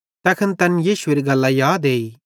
तैखन तैना यीशुएरी गल्लां याद एई